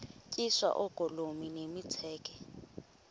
tyiswa oogolomi nemitseke